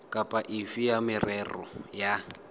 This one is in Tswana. kapa efe ya merero ya